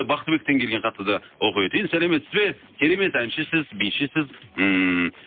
бахтыбектен келген хатты да оқып өтейін сәлеметсіз бе керемет әншісіз бишісіз ммм